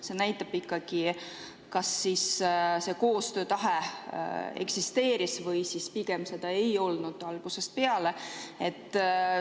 See näitab selle koostöötahte eksisteerimise kohta ikkagi, et pigem seda ei olnud algusest peale.